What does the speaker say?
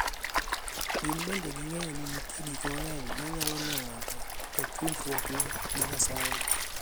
Gin bende ging'eyo ni nitie gik mang'eny manyalo miyo ng'ato oketh winjruokne gi Nyasaye.